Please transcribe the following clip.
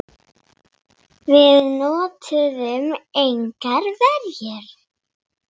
Við notuðum engar verjur.